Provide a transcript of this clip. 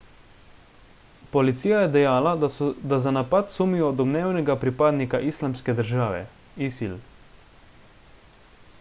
policija je dejala da za napad sumijo domnevnega pripadnika islamske države isil